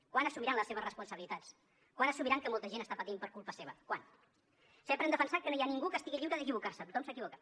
quan assumiran les seves responsabilitats quan assumiran que molta gent està patint per culpa seva quan sempre hem defensat que no hi ha ningú que estigui lliure d’equivocar se tothom s’equivoca